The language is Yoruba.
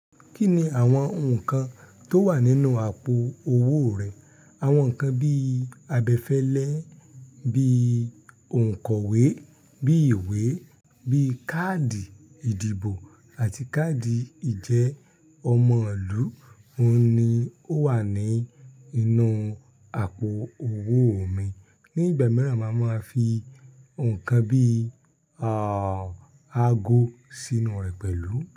Kí ni àwọn nǹkan tó wà nínú àpò owó rẹ? Àwọn nǹkan bíi abẹfẹlẹ, bíi òǹkọ̀wé, bíi ìwé, bíi káàdì ìdìbò àti káàdì ìjẹ ọmọlú. Óun ni ó wà ní inú àpò owó mi. Ní ìgbà mìíràn máa ma fi nnkan bíi, àh, ago sínú rẹ̀ pẹ̀lú.